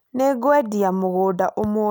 Nĩngũendia mũgũnda ũmwe